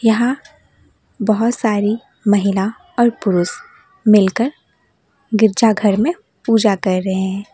यहां बहोत सारी महिला और पुरुष मिलकर गिरजाघर में पूजा कर रहे हैं।